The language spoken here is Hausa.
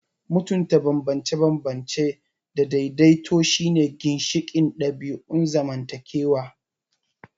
Mutunta bambance-bambance da daidaito shine ginshiƙin ɗabi'un zamantakewa.